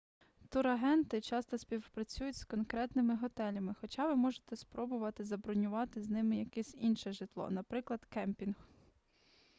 турагенти часто співпрацюють з конкретними готелями хоча ви можете спробувати забронювати з ними якесь інше житло наприклад кемпінг